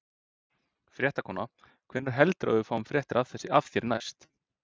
Fréttakona: Hvenær heldurðu að við fáum fréttir af þér næst?